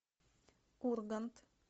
ургант